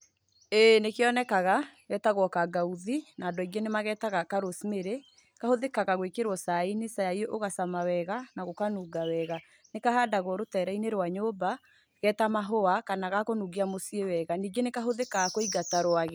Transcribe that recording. Ĩĩ nĩkĩonekaga, getagwo kangangauthi, na andũ aingĩ nĩmagetaga ka Rose Mary. Kahũthĩkaga gwĩkĩrwo caai-inĩ, caai ũgacama wega, na gũkanunga wega. nĩkahandagwo rũtere-inĩ rwa nyũmba, ge ta mahũa, kana ga kũnungia mũciĩ wega. Ningĩ nĩkahũthĩkaga kũingata rwagĩ.